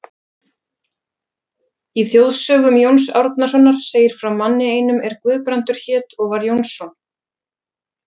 Í þjóðsögum Jóns Árnasonar segir frá manni einum er Guðbrandur hét og var Jónsson.